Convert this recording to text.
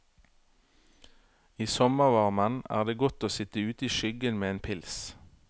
I sommervarmen er det godt å sitt ute i skyggen med en pils.